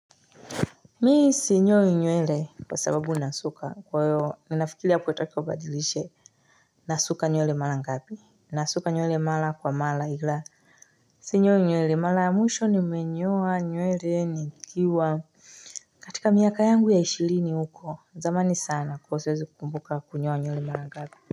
Mii sinyori nywele kwa sababu nasuka kwa hiyo ninafikiria ya ukitaka ubadilishe nasuka nywele malangapi nasuka nywele mala kwa mala ila sinyoi nywele mala mwisho nimenyoa nywele nikiwa katika miaka yangu ya ishirini uko zamani sana kwahiyo siwezi kukumbuka kunyoa nywele malangapi.